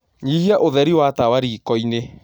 Nyĩhĩa ũtherĩ wa tawa rĩkoĩni